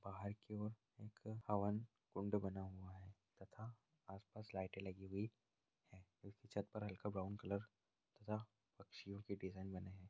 बाहर की और एक हवन कुंड बना हुआ है तथा आस-पास लाइटें लगी हुई है छत पर हलका ब्राउन कलर तथा पक्षियों के डिज़ाइन बने है।